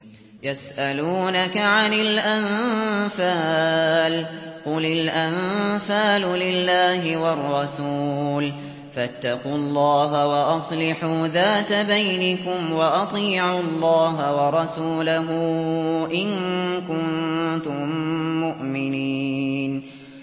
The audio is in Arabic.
يَسْأَلُونَكَ عَنِ الْأَنفَالِ ۖ قُلِ الْأَنفَالُ لِلَّهِ وَالرَّسُولِ ۖ فَاتَّقُوا اللَّهَ وَأَصْلِحُوا ذَاتَ بَيْنِكُمْ ۖ وَأَطِيعُوا اللَّهَ وَرَسُولَهُ إِن كُنتُم مُّؤْمِنِينَ